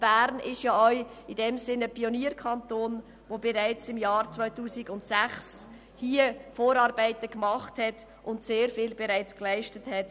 Bern ist in dem Sinn auch ein Pionierkanton, der bereits im Jahr 2006 Vorarbeiten gemacht und sehr viel geleistet hat.